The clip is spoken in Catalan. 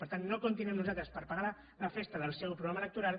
per tant no comptin amb nosaltres per pagar la fes·ta del seu programa electoral